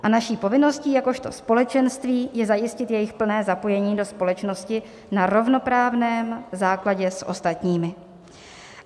A naší povinností jakožto společenství je zajistit jejich plné zapojení do společnosti na rovnoprávném základě s ostatními."